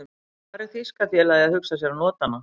En hvar er þýska félagið að hugsa sér að nota hana?